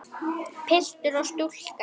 Piltur og stúlka.